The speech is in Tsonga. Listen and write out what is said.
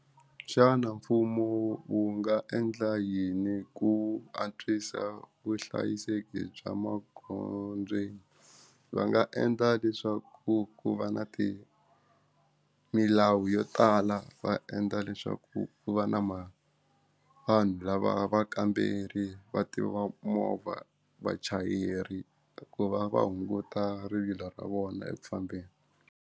Xana mfumo wu nga endla yini ku antswisa vuhlayiseki bya maghondzweni va nga endla leswaku ku va na ti milawu yo tala va endla leswaku ku va na ma vanhu lava vakamberi va tivaku movha vachayeri ku va va hunguta rivilo ra vona eku fambeni.